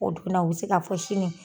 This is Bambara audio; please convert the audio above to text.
O dun na u bɛ se ka fɔ sini.